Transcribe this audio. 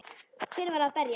Hver var að berja?